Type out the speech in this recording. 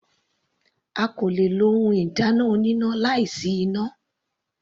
A kò le lo ohun ìdáná oníná láì sí iná.